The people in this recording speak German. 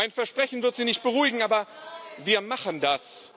Mein Versprechen wird sie nicht beruhigen, aber wir machen das.